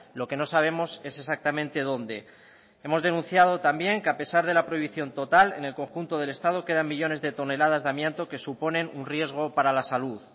lo que no sabemos es exactamente dónde hemos denunciado también que a pesar de la prohibición total en el conjunto del estado quedan millónes de toneladas de amianto que suponen un riesgo para la salud